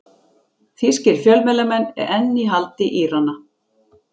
Þýskir fjölmiðlamenn enn í haldi Írana